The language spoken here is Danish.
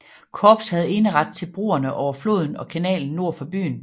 Korps havde eneret til broerne over floden og kanalen nord for byen